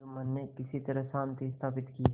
जुम्मन ने किसी तरह शांति स्थापित की